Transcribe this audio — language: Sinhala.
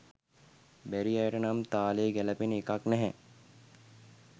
බැරි අයට නම් තාලේ ගැලපෙන එකක් නැහැ